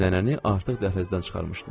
Nənəni artıq dəhlizdən çıxarmışdılar.